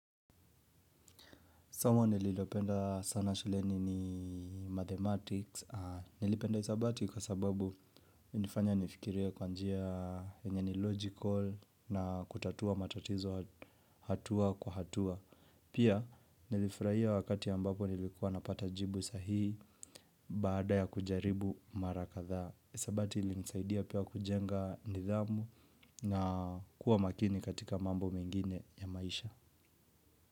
Somo nililopenda sana shuleni ni mathematics, nilipenda hesabati kwa sababu ilinifanya nifikirie kwa njia yenye ni logical na kutatua matatizo hatua kwa hatua. Pia nilifurahia wakati ambapo nilikuwa napata jibu sahii baada ya kujaribu mara kadhaa, hesabati ilinisaidia pia kujenga nidhamu na kuwa makini katika mambo mengine ya maisha.